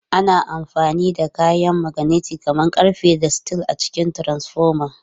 Ana amfani da kayan maganeti kamar ƙarfe da steel a cikin transfoma.